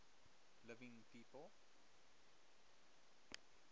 living people